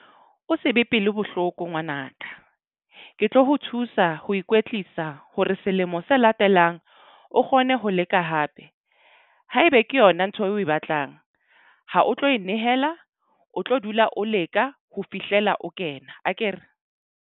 O se be pelo bohloko ngwanaka. Ke tlo ho thusa ho ikwetlisa hore selemo se latelang o kgone ho leka hape. Haebe ke yona ntho eo o batlang ha o tlo e nehela, o tlo dula o leka ho fihlela o kena akere?